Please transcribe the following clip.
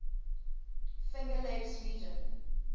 finger lakes region